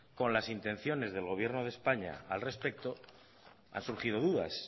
con las intenciones del gobierno de españa al respecto han surgido dudas